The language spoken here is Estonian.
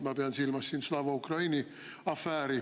Ma pean silmas Slava Ukraini afääri.